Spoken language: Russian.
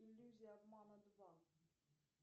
иллюзия обмана два